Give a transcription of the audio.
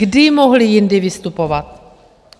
Kdy mohli jindy vystupovat?